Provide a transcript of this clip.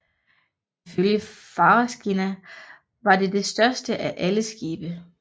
Ifølge Fagrskinna var det det største af alle skibe